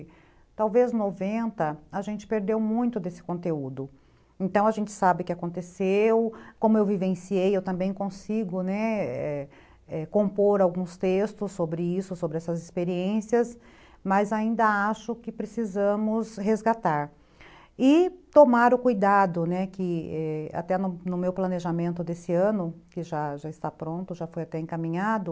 Talvez noventa, a gente perdeu muito desse conteúdo. Então a gente sabe que aconteceu como eu vivenciei eu também consigo, né, é compor alguns textos sobre isso sobre essas experiências, mas ainda acho que precisamos resgatar e tomar o cuidado, né ,que, é, até no meu planejamento desse ano, que já já está pronto já foi até encaminhado